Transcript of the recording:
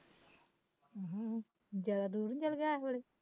ਅਮਂ ਜਿਆਦਾ ਦੂਰ ਨੀ ਚੱਲ ਗਿਆ ਏਸ ਵੇਲੇ